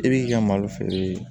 I b'i ka malo feere